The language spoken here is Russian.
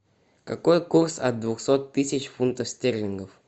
какой курс от двухсот тысяч фунтов стерлингов